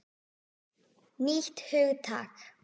Nýtt hugtak!